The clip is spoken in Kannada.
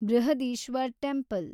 ಬೃಹದೀಶ್ವರ್ ಟೆಂಪಲ್